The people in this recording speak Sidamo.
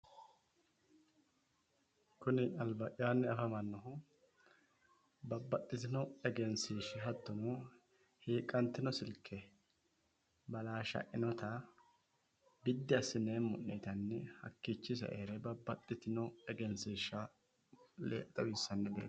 kuni alba'yaanni afamannohu babbaxitino egenshiishsha hattono hiiqqantino silke balaashshainota biddi assineemmo'ne yitanni hakkiiichinni saeere babbaxitino egenshiishsha xawissannoreeti.